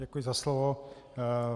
Děkuji za slovo.